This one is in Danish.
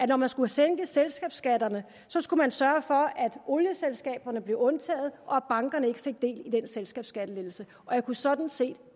når man skulle sænke selskabsskatterne skulle sørge for at olieselskaberne blev undtaget og at bankerne ikke fik del i den selskabsskattelettelse og jeg kunne sådan set